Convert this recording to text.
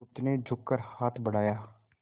बुधगुप्त ने झुककर हाथ बढ़ाया